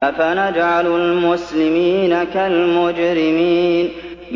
أَفَنَجْعَلُ الْمُسْلِمِينَ كَالْمُجْرِمِينَ